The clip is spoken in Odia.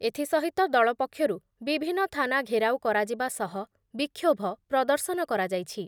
ଏଥିସହିତ ଦଳ ପକ୍ଷରୁ ବିଭିନ୍ନ ଥାନା ଘେରାଉ କରାଯିବା ସହ ବିକ୍ଷୋଭ ପ୍ରଦର୍ଶନ କରାଯାଇଛି ।